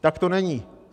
Tak to není.